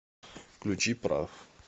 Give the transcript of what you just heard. включи прав